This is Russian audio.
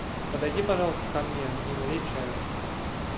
подойди пожалуйста ко мне и налей чаю